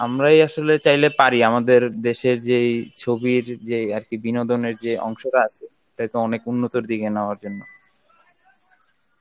আমরাই আসলে চাইলে পারি আমাদের দেশের যেই ছবির যেই আর কি বিনোদনের যে অংশটা আছে তাদেরকে অনেক উন্নতর দিকে নেওয়ার জন্য